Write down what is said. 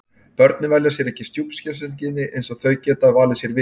Börnin velja sér ekki stjúpsystkini eins og þau geta valið sér vini.